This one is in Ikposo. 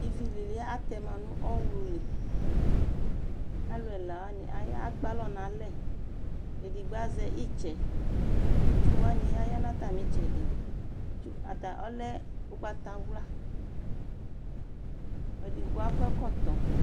Ivi lili atɛma nʋ ɔwluliAluɛlawani aya ekpe alɔ nalɛ, ɛɖigbo azɛ itsɛ, itsʋwani Aaya nʋ atamitsɛɖi ata ɔlɛ ʋgbatawluaƐɖigbo akɔ ɛkɔtɔ